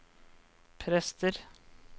prester